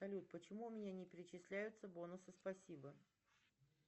салют почему у меня не перечисляются бонусы спасибо